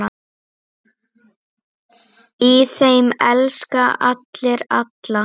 Í þeim elska allir alla.